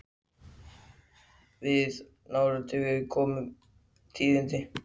Fötin sem voru tínd utan á mig eftir það voru grá eða drapplituð.